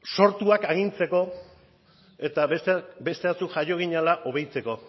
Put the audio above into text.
sortuak agintzeko eta beste batzuk jaio ginela obeditzeko